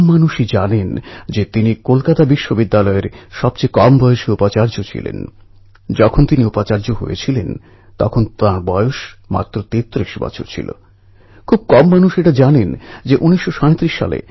আষাঢ় মাসের একাদশীর প্রায় ১৫২০ দিন আগে থেকেই বারকরী অর্থাৎ তীর্থযাত্রীরা পালকি নিয়ে পণ্ঢরপুরের উদ্দেশ্যে পদযাত্রা শুরু করেন